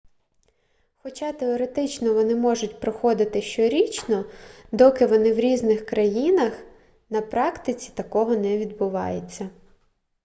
хоча теоретично вони можуть проходити щорічно доки вони в різних країнах на практиці такого не відбувається